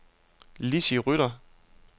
Lizzie Rytter